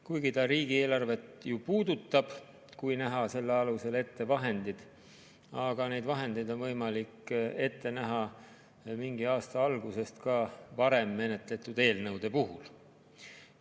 Kuigi riigieelarvet see ju puudutab, kui näha selle alusel ette vahendid, aga neid vahendeid on võimalik ette näha mingi aasta algusest ka varem menetletud eelnõude puhul.